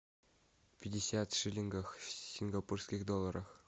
пятьдесят шиллингов в сингапурских долларах